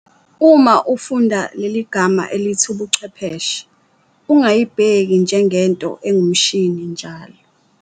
Uma ufunda leligama elithi ubuchwepheshe, ungayibheki njengento engumshini njalo.